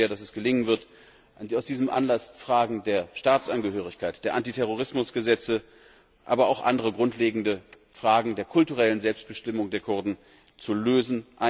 Ich hoffe sehr, dass es gelingen wird, aus diesem Anlass Fragen der Staatsangehörigkeit, der Antiterrorismus Gesetze, aber auch andere grundlegende Fragen der kulturellen Selbstbestimmung der Kurden ein für allemal zu lösen.